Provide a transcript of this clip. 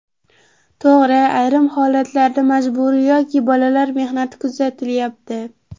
To‘g‘ri, ayrim holatlarda majburiy yoki bolalar mehnati kuzatilyapti.